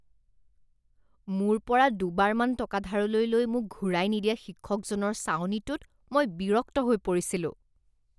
মোৰ পৰা দুবাৰমান টকা ধাৰলৈ লৈ মোক ঘূৰাই নিদিয়া শিক্ষকজনৰ চাৱনিটোত মই বিৰক্ত হৈ পৰিছিলো